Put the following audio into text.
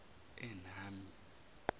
enami